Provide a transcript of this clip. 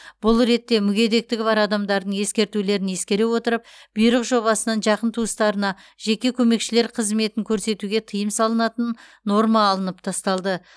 бұл ретте мүгедектігі бар адамдардың ескертулерін ескере отырып бұйрық жобасынан жақын туыстарына жеке көмекшілер қызметін көрсетуге тыйым салынатын норма алынып тасталды